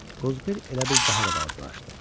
Qozbel elə bil daha da balacalaşdı.